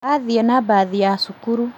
Athiĩ na mbathi ya cukuru